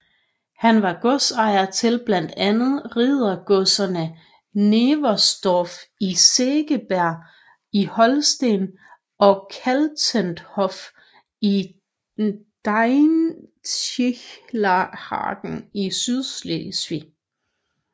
Han var godsejer til blandt andet riddergodserne Neversdorf i Segeberg i Holsten og Kaltenhof i Dänischenhagen i Sydslesvig